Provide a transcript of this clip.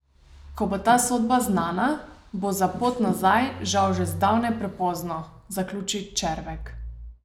Ko bo ta sodba znana, bo za pot nazaj žal že zdavnaj prepozno, zaključi Červek.